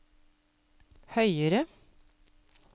høyere